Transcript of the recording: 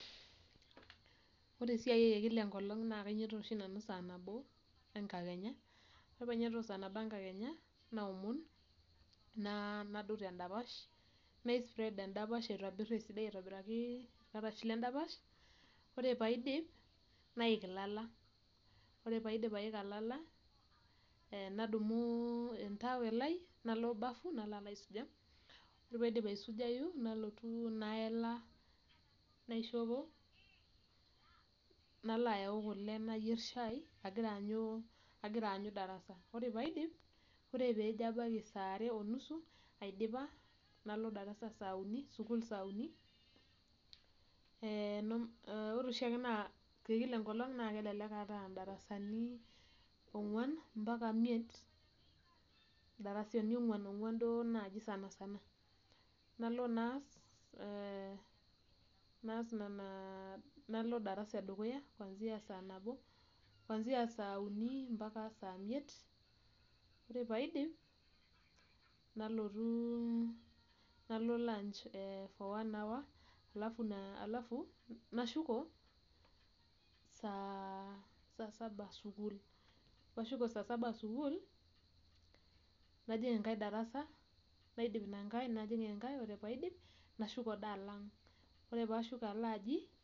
Ore esiai ai ekila enkolong naa kainyototo oshi nanu sa nabo enkakenya, ore painyototo sa nabo enkakenya, naomon, nadou tedapash, nai spread edapash aitobir esidai aitobiraki irkarash ledapash. Ore paidip, naik ilala. Ore paidip aika lala, nadumu entawel ai, nalo bafu, nalo alo aisuja. Ore paidip aisujayu, nalotu naelewa, naishopo, nalo ayau kule nayier shai, agira aanyu, agira anyu darasa. Ore paidip, ore pejo abaiki sare onusu, aidipa, nalo darasa sauni, sukuul sauni, ore oshiake naa, tekila enkolong', na kelelek aata idarasani ong'uan, mpaka imiet, idarasani ong'uan ong'uan duo naji sanasana. Nalo naas, naas nena, nalo darasa edukuya, kwanzia sanabo, kwanzia sauni mpaka samiet. Ore paidip, nalotu nalo lunch for one hour, alafu nashuko ah sa saba sukuul. Nashuko sa saba sukuul, najing' enkae darasa, naidip ina nkae, najing' enkae, ore paidip, nashuko da alaang'. Ore pashuko alo aji..